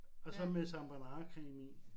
Og så med Sarah Bernhardt creme i